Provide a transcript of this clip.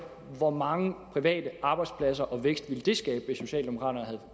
hvor mange private arbejdspladser og vækst ville det skabe hvis socialdemokraterne havde